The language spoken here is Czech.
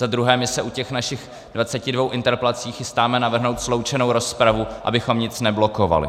Za druhé, my se u těch našich 22 interpelací chystáme navrhnout sloučenou rozpravu, abychom nic neblokovali.